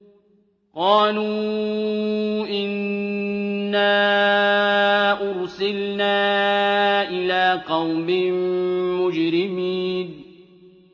قَالُوا إِنَّا أُرْسِلْنَا إِلَىٰ قَوْمٍ مُّجْرِمِينَ